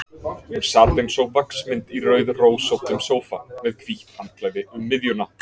Hún sat eins og vaxmynd í rauðrósóttum sófa, með hvítt handklæði um miðjuna.